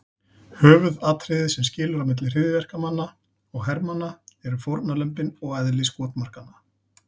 Höfuðatriðið sem skilur á milli hryðjuverkamanna og hermanna eru fórnarlömbin og eðli skotmarkanna.